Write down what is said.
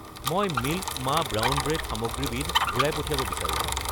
মই মিল্ক মা brown bread সামগ্ৰীবিধ ঘূৰাই পঠিয়াব বিচাৰোঁ।